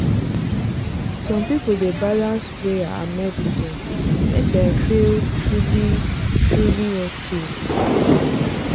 some people dey balance prayer and medicine make dem feel truly truly okay.